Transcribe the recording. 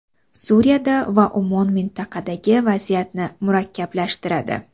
Suriyada va umuman mintaqadagi vaziyatni murakkablashtiradi.